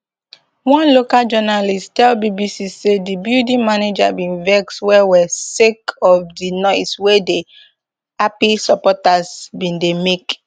one local journalist tell bbc say di building manager bin vex wellwell sake of di noise wey di happy supporters bin dey make